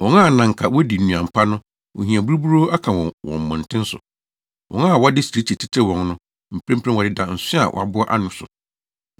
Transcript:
Wɔn a na anka wodi nnuan pa no ohia buruburoo aka wɔn wɔ mmɔnten so. Wɔn a wɔde sirikyi tetew wɔn no mprempren wɔdeda nso a wɔaboa ano so.